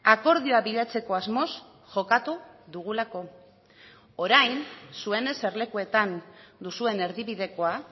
akordioa bilatzeko asmoz jokatu dugulako orain zuen eserlekuetan duzuen erdibidekoa